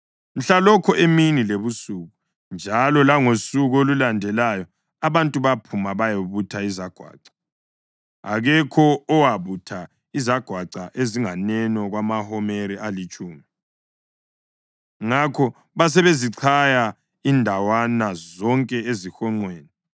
Mhlalokho emini lebusuku njalo langosuku olulandelayo abantu baphuma bayabutha izagwaca. Akekho owabutha izagwaca ezinganeno kwamahomeri alitshumi. Ngakho basebezichaya indawana zonke ezihonqweni.